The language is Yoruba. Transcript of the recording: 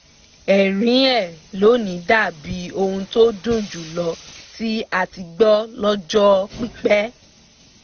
ẹ̀rín ẹ̀ lónìí dàbíi ohùn tó dùn jù lọ tí a ti gbọ́ lọ́jọ́ pípẹ́